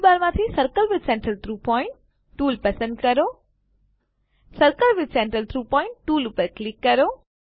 ટૂલબારમાંથી circle with centre through point tool પસંદ કરો circle with centre through point tool પર ક્લિક કરો